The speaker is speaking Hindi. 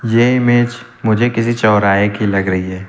ये इमेज मुझे किसी चौराहे की लग रही है।